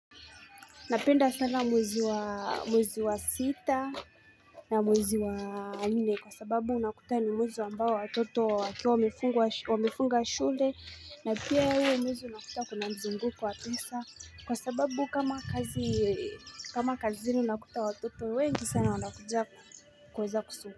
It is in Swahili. Napenda sana mwezi wa sita na mwezi wa nne kwa sababu unakuta ni mwezi ambao watoto wakiwa wamefunga shule na pia huo mwezi unakuta kuna mzunguko wa pesa kwa sababu kama kazi kama kazini unakuta watoto wengi sana unakuja kuweza kusu.